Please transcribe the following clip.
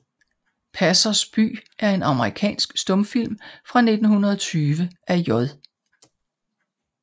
Passers By er en amerikansk stumfilm fra 1920 af J